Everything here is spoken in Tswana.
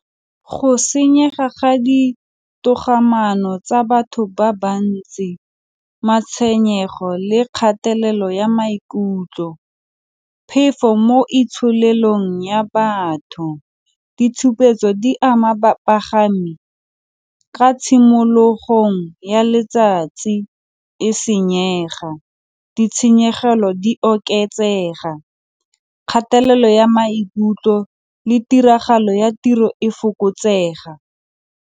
Go senyega ga ditogamaano tsa batho ba bantsi, matshwenyego le kgatelelo ya maikutlo, phefo mo itsholelong ya batho, ditshupetso di ama bapagami ka tshimologong ya letsatsi e senyega, ditshenyegelo di oketsega, kgatelelo ya maikutlo le tiragalo ya tiro e fokotsega.